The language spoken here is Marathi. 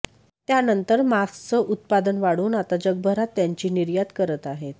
त्यानंतर मास्कचं उत्पादन वाढवून आता जगभरात त्यांची निर्यात करत आहेत